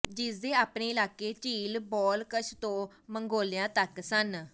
ਜਿਸਦੇ ਆਪਣੇ ਇਲਾਕੇ ਝੀਲ ਬਾਲਕਸ਼ ਤੋਂ ਮੰਗੋਲੀਆ ਤੱਕ ਸਨ